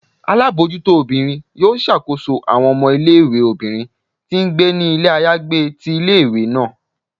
Alabojuto obírín yọọ ṣakoso awọn ọmọ ìlé-ìwé obinrín ti ngbé ni ilé ayagbé tí ìlé-ìwé naa